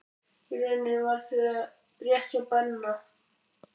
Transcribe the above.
Í rauninni var það rétt hjá Benna.